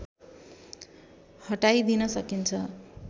हटाइदिन सकिन्छ